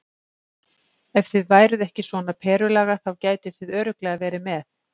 Ef þið væruð ekki svona Perulaga þá gætuð þið örugglega verið með.